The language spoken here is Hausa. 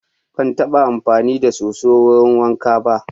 Ban taɓa amfani da soso wurin wanka ba.